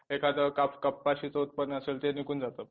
एखादं कपाशीच उत्पादन असेल ते निघून जातं